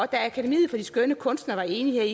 akademi for de skønne kunster var enige